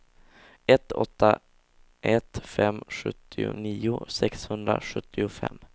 ett åtta ett fem sjuttionio sexhundrasjuttiofem